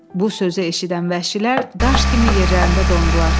Bu sözü eşidən vəhşilər daş kimi yerlərində dondular.